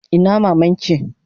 Ina maman ki?